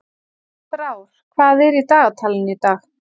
Frár, hvað er í dagatalinu í dag?